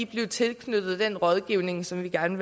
blive tilknyttet den rådgivning som vi gerne